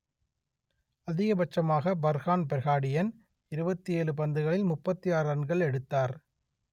அதிகபட்சமாக Farhan Behardien இருபத்தி ஏழு பந்துகளில் முப்பத்தி ஆறு ரன்கள் எடுத்தார்